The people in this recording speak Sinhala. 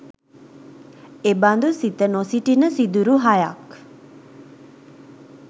එබඳු සිත නොසිටින සිදුරු හයක්